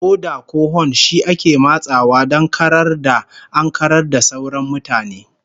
Oda ko hon shi ake matsawa don karar ya ankarar da sauran mutane